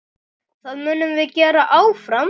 Það munum við gera áfram.